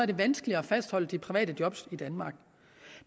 det vanskeligt at fastholde de private job i danmark